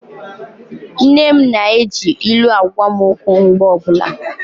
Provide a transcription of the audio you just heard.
Nne m na-eji ilu agwa m okwu mgbe ọbụla.